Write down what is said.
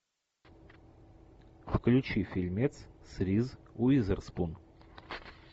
включи фильмец с риз уизерспун